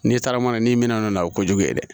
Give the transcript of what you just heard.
N'i taara mana n'i minɛna n'o na o kojugu ye dɛ